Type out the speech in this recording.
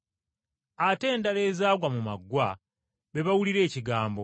Ate endala ezaagwa mu maggwa, be bawulira ekigambo,